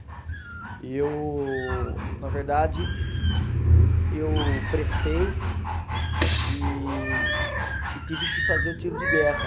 E eu, na verdade, eu prestei e e tive que fazer o tiro de guerra.